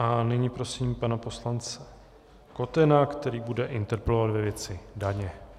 A nyní prosím pana poslance Kotena, který bude interpelovat ve věci daně.